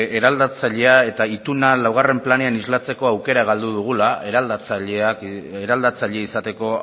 eraldatzailea eta ituna laugarren planean islatzeko aukera galdu dugula eraldatzaile izateko